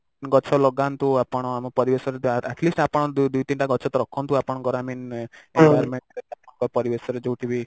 ଗଛ ଲଗାନ୍ତୁ ଆପଣ ଆମ ପରିବେଶରେ Atleast ଆପଣ ଦୁଇ ତିନିଟା ଗଛ ତ ରଖନ୍ତୁ ଆପଣଙ୍କର i mean environment ପରିବେଶରେ ଯଉଠି ବି